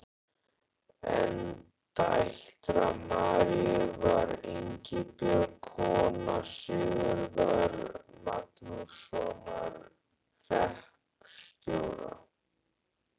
Ein dætra Maríu var Ingibjörg, kona Sigurðar Magnússonar hreppstjóra.